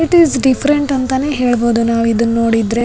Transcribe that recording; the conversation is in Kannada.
ಇಟ್ ಇಸ್ ಡಿಫರೆಂಟ್ ಅಂತಾನೆ ಹೇಳ್ಬಹುದು ನಾವಿದನ್ನೋಡಿದ್ರೆ.